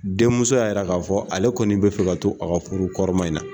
Denmuso ya yira ka fɔ, ale kɔni be fɛ ka to a ka furu kɔrɔma in na.